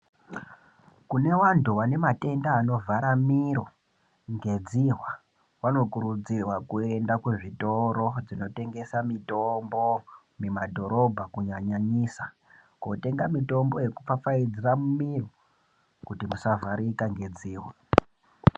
Kune vantu vane matenda anovhara miro ngedzihwa vanokurudzirwa kuenda kuzvitoro zvinotengesa mitombo mumadhorobha kunyanyanyisa kotenga mitombo yekupfapfaidzira mumwiri kuti musavharika ngedzihwa.